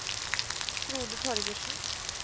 Frode Torgersen